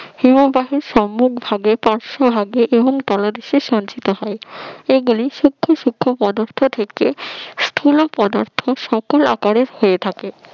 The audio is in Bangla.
হিমবাহ হিমবাহের পার্শ্বভাগে সম্মুখভাগে এবং তলদেশে সঞ্চিত হয় এগুলি সূক্ষ্ম সূক্ষ্ম পদার্থ থেকে স্থূল পদার্থ সকল আকারের হয়ে থাকে